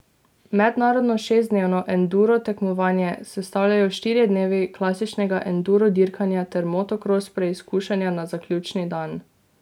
Mednarodno šestdnevno enduro tekmovanje sestavljajo štirje dnevi klasičnega enduro dirkanja ter motokros preizkušnja na zaključni dan.